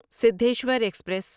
Siddheshwar express